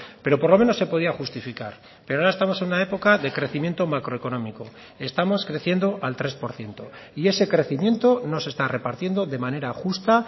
pero por lo menos se podía justificar pero ahora estamos en una época de crecimiento macroeconómico estamos creciendo al tres por ciento y ese crecimiento no se está repartiendo de manera justa